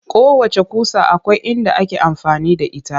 Kowacce ƙusa akwai inda ake amfani da ita